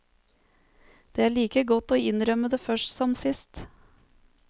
Det er like godt å innrømme det først som sist.